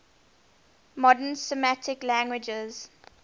modern semitic languages